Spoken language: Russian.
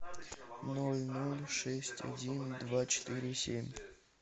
ноль ноль шесть один два четыре семь